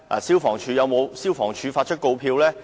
消防處有否發出告票呢？